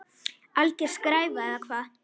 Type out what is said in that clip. Alger skræfa eða hvað?